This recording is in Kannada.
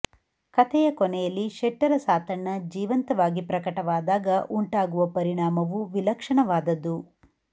ಕಥೆಯ ಕೊನೆಯಲ್ಲಿ ಶೆಟ್ಟರ ಸಾತಣ್ಣ ಜೀವಂತವಾಗಿ ಪ್ರಕಟವಾದಾಗ ಉಂಟಾಗುವ ಪರಿಣಾಮವೂ ವಿಲಕ್ಷಣವಾದದ್ದು